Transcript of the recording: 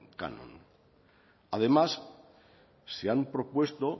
canon además se han propuesto